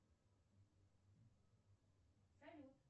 салют